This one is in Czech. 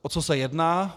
O co se jedná?